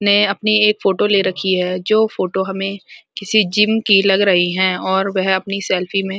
ने अपनी एक फोटो ले रखी है जो फोटो हमें किसी जिम की लग रही हैं और वह अपनी सेल्फी में --